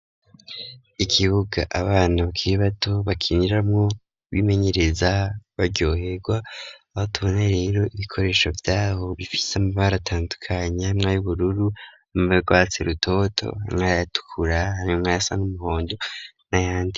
Ikibuga abantu bakiri bato bakiniramwo bimenyereza baryoherwa abo tubona rero ibikoresho vya ho bifise amabara atandukanye harimwo ay'ubururu amabara urwatsi rutoto nayatukura hanyumwa ayasa n'umuhondo nayandi.